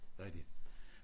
Rigtig